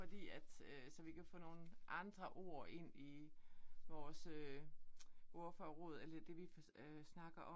Fordi at øh så vi kan få nogle andre ord ind i vores øh ordforråd eller det vi på øh snakker om